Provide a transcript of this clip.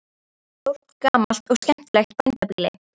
Þetta er stórt gamalt og skemmtilegt bændabýli.